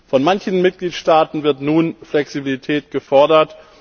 Von manchen Mitgliedstaaten wird nun Flexibilität gefordert.